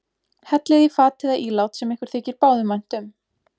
Hellið í fat eða ílát sem ykkur þykir báðum vænt um.